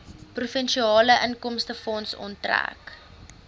provinsiale inkomstefonds onttrek